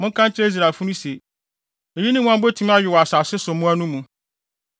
“Monka nkyerɛ Israelfo no se, ‘eyi ne mmoa a mubetumi awe wɔ asase so mmoa no mu.